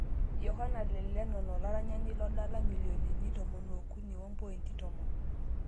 Yohana le lenon olaranyani, dola omilionini 13.10